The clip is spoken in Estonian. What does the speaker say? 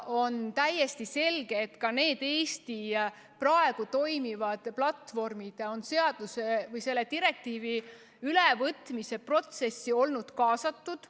On täiesti selge, et ka Eestis praegu toimivad platvormid on selle direktiivi ülevõtmise protsessi olnud kaasatud.